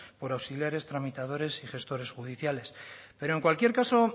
por auxiliares tramitadores y gestores judiciales pero en cualquier caso